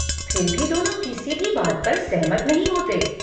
फिर भी दोनों किसी भी बात पर सहमत नहीं होते।